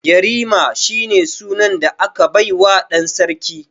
Yarima shine sunan da aka baiwa dan sarki.